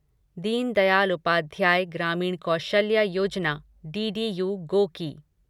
Deen Dayal Upadhyaya Grameen Kaushalya Yojana DDU Goki